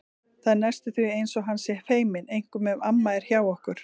Það er næstum því eins og hann sé feiminn, einkum ef amma er hjá okkur.